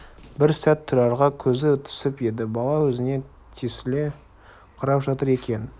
бір сәт тұрарға көзі түсіп еді бала өзіне тесіле қарап жатыр екен